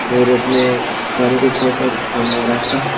और इसमें गाड़ी को खोल का काम हो रहा है इसका।